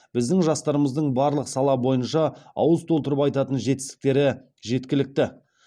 біздің жастарымыздың барлық сала бойынша ауыз толтырып айтатын жетістіктері жеткілікті